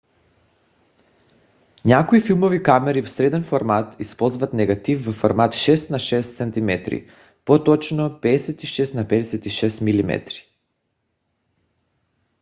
някои филмови камери в среден формат използват негатив във формат 6 на 6 cm по - точно 56 на 56 mm